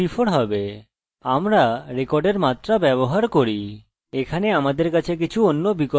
আমরা রেকর্ডের মাত্রা ব্যবহার করি এখানে আমাদের কাছে কিছু অন্য বিকল্প আছে